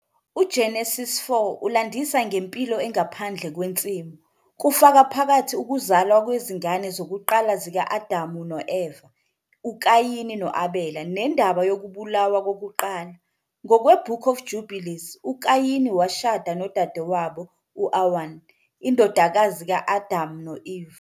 UGenesise 4 ulandisa ngempilo engaphandle kwensimu, kufaka phakathi ukuzalwa kwezingane zokuqala zika-Adamu no-Eva uKayini no-Abela nendaba yokubulawa kokuqala. Ngokwe- Book of Jubilees, uKayini washada nodadewabo u- Awan, indodakazi ka-Adam no-Eve.